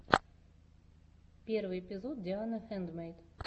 первый эпизод диана хэндмэйд